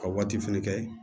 Ka waati fɛnɛ kɛ